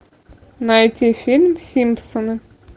найти фильм симпсоны